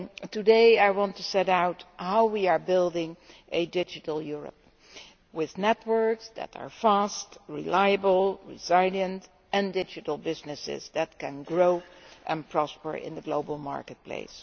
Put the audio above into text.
Today I want to set out how we are building a digital Europe with networks that are fast, reliable and resilient and digital businesses that can grow and prosper in the global marketplace.